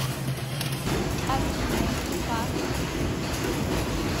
афина и как